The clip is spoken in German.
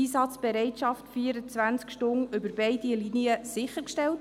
Wurde die Einsatzbereitschaft 24 Stunden über beide Linien hinweg sichergestellt?